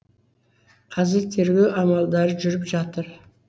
қазір тергеу амалдары жүріп жатыр